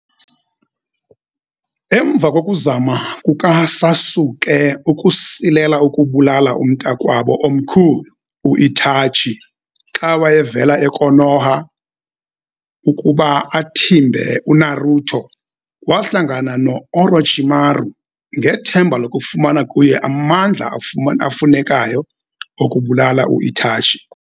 Emva kokuzama kukaSasuke ukusilela ukubulala umntakwabo omkhulu u-Itachi xa wayevela eKonoha ukuba athimbe uNaruto, wahlangana noOrochimaru, ngethemba lokufumana kuye amandla afunekayo okubulala u-Itachi.